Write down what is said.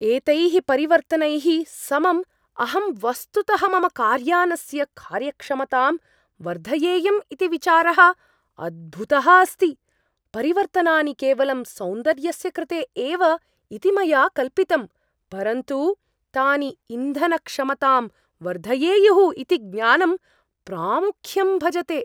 एतैः परिवर्तनैः समम् अहं वस्तुतः मम कार्यानस्य कार्यक्षमतां वर्धयेयम् इति विचारः अद्भुतः अस्ति, परिवर्तनानि केवलं सौन्दर्यस्य कृते एव इति मया कल्पितम्, परन्तु तानि इन्धनक्षमतां वर्धयेयुः इति ज्ञानं प्रामुख्यं भजते।